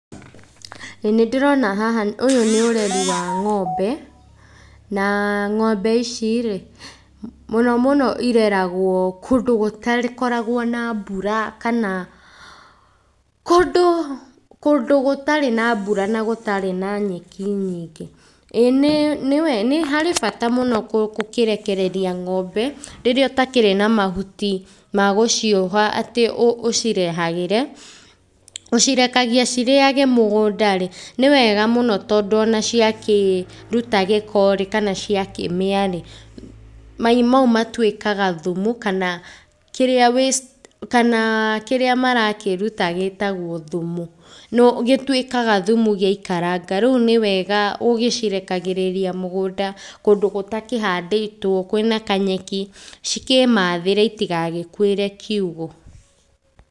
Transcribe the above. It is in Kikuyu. Ĩĩ nĩdĩrona haha ũyũ nĩ ũrĩmi wa ng'ombe, na ng'ombe ici rĩ, mũno mũno ireragwo kũndũ gũtarĩ gũtakoragwo na mbura, kana kũndũ kũndũ gũtarĩ na mbura na gũtarĩ na nyeki nyingĩ, ĩĩ nĩ nĩwe nĩharĩ bata mũno kũ kũkĩrekereria ng'ombe, rĩrĩa ũtakĩrĩ na mahuti magũcioha atĩ ũ ũ ũcirehagĩre, ũcirekagia cirĩage mũgũnda rĩ, nĩwega mũno tondũ ona ciakĩruta gĩko rĩ, kana cia kĩmĩa rĩ, mai mau matuĩkaga thumu, kana kĩrĩa kana kĩrĩa marakĩruta gĩtagwo thumu. Na gĩtuĩkaga thumu gĩaikaranga rĩu nĩwega ũgĩcirekagĩrĩria mũgũnda kũndũ gũtakĩhandĩtwo, kwĩna kanyeki, cikĩmathĩra citigagĩkuĩre kiugũ.